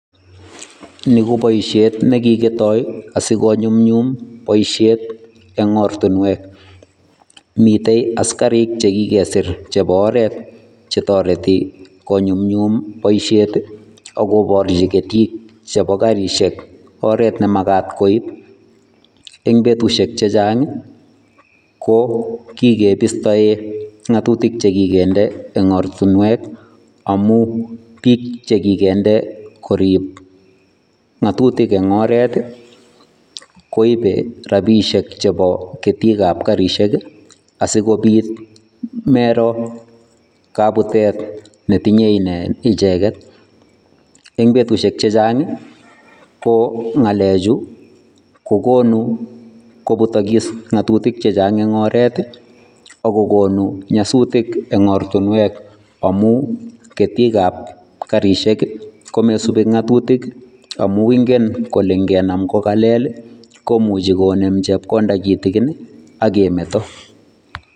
Ni ko boisiet ne kikitoi asi konyumnyum boisiet eng ortinwek, mitei askarik che kikesir chebo oret che toreti konyumnyum boisiet ii akoborchi ketik chebo garisiek oret ne makat koib. Eng betusiek che chang ii, ko kikebistoe ngatutik che kikende eng ortinwek amu piik che kikende korip ngatutik eng oret ii, koibe rabiisiek chebo ketikab garisiek ii, asi kobit mero kabutet ne tinye icheket, eng betusiek che chang ii, ko ngalechu kokonu kobutokis ngatutik che chang eng oret ii, ak kokonu nyasutik eng ortinwek amu ketikab garisiek ii, komesubi ngatutik ii amu ingen kole ngenam ko kalel ii, komuchi konem chepkonda kitikin ii, ak kemeto.